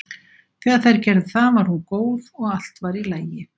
Þegar þær gerðu það var hún góð og allt var í lagi.